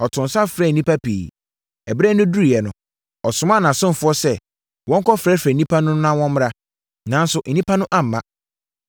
Ɔtoo nsa frɛɛ nnipa pii. Ɛberɛ no duruiɛ no, ɔsomaa nʼasomfoɔ sɛ wɔnkɔfrɛfrɛ nnipa no na wɔmmra. Nanso, nnipa no amma.